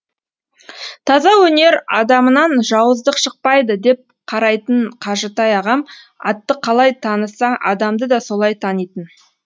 таза өнер адамынан жауыздық шықпайды деп қарайтын қажытай ағам атты қалай таныса адамды да солай танитын